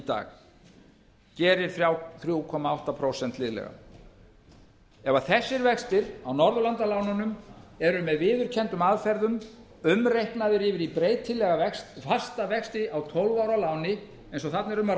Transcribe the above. dag gerir þrjú komma átta prósent liðlega ef þessir vextir á norðurlandalánunum eru með viðurkenndum aðferðum umreiknaðir yfir í breytilega fasta vexti á tólf ára láni eins og þarna er um að